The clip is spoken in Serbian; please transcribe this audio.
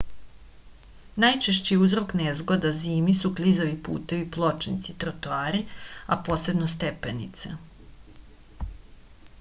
најчешћи узрок незгода зими су клизави путеви плочници тротоари а посебно степенице